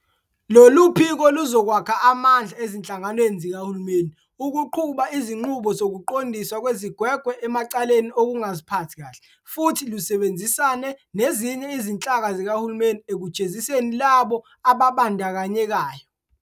Lolu phiko luzokwakha amandla ezinhlanganweni zikahulumeni ukuqhuba izinqubo zokuqondiswa kwezigwegwe emacaleni okungaziphathi kahle futhi lusebenzisane nezinye izinhlaka zikahulumeni ekujeziseni labo ababandakanyekayo.